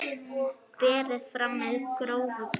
Berið fram með grófu brauði.